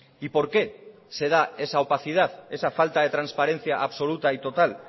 y por qué se da esa opacidad esa falta de transparencia absoluta y total